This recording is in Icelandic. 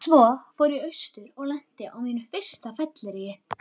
Svo fór ég austur og lenti á mínu fyrsta fylleríi.